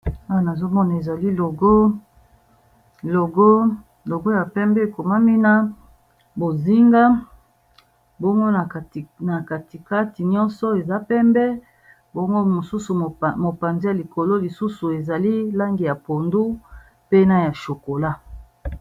Awa nazomona ezali logo, logo ya pembe ekomami na langi ya bozinga, bongo na katikati nyonso eza pembe, bongo mosusu mopanze ya likolo lisusu ezali langi ya pondu, pe na ya chokola.